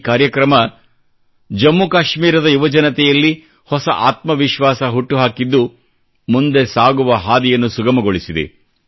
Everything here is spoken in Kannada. ಈ ಕಾರ್ಯಕ್ರಮ ಜಮ್ಮು ಕಾಶ್ಮೀರದ ಯುವಜನತೆಯಲ್ಲಿ ಹೊಸ ಆತ್ಮ ವಿಶ್ವಾಸ ಹುಟ್ಟುಹಾಕಿದ್ದು ಮುಂದೆ ಸಾಗುವ ಹಾದಿಯನ್ನು ಸುಗಮಗೊಳಿಸಿದೆ